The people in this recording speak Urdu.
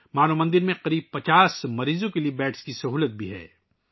مانو مندر میں تقریباً 50 مریضوں کے لئے بستروں کی سہولت بھی موجود ہے